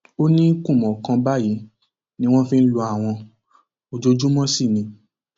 ó ní kùmọ kan báyìí ni wọn fi ń lu àwọn ojoojúmọ sí ni